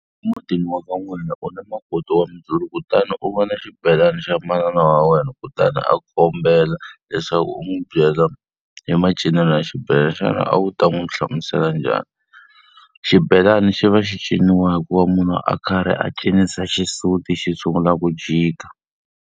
Mutini wa ka n'wina ku na makoti wa Muzulu kutani u vona xibelani xa manana wa wena kutani a kombela leswaku u n'wi byela hi macinelo ya xibelana, xana a wu ta n'wi hlamusela njhani? Xibelani xi va xi ciniwa hikuva munhu a karhi a cinisa xisuti xi sungula ku jika.